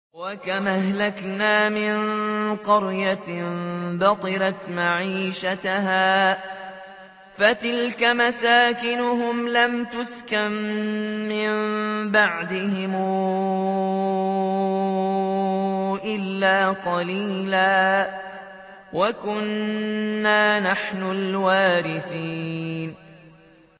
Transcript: وَكَمْ أَهْلَكْنَا مِن قَرْيَةٍ بَطِرَتْ مَعِيشَتَهَا ۖ فَتِلْكَ مَسَاكِنُهُمْ لَمْ تُسْكَن مِّن بَعْدِهِمْ إِلَّا قَلِيلًا ۖ وَكُنَّا نَحْنُ الْوَارِثِينَ